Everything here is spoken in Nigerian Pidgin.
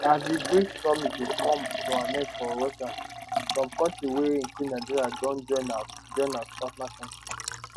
as di brics summit dey come to an end for russia some kontris wey include nigeria don join as join as partner kontris